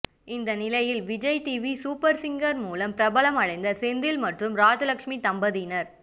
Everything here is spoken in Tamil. இந்த நிலையில் விஜய் டிவி சூப்பர் சிங்கர் மூலம் பிரபலமடைந்த செந்தில் மற்றும் ராஜலக்ஷ்மி தம்பதியினர்